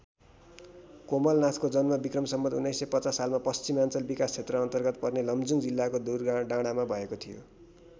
कोमलनाथको जन्म विक्रम सम्वत् १९५० सालमा पश्चिमाञ्चल विकासक्षेत्रअन्तर्गत पर्ने लमजुङ जिल्लाको दुराडाँडामा भएको थियो।